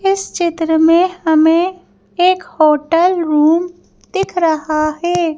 इस चित्र में हमें एक होटल रूम दिख रहा है।